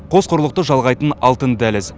қос құрлықты жалғайтын алтын дәліз